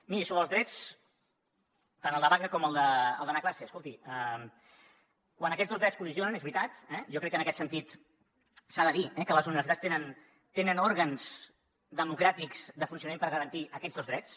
miri sobre els drets tant el de vaga com el d’anar a classe escolti quan aquests dos drets col·lideixen és veritat jo crec que en aquest sentit s’ha de dir que les universitats tenen òrgans democràtics de funcionament per garantir aquests dos drets